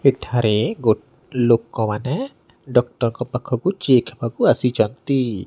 ଏଠାରେ ଗୋ ଲୋକମାନେ ଡକ୍ଟର୍ ଙ୍କ ପାଖକୁ ଚେକ୍ ହେବାକୁ ଆସିଚନ୍ତି।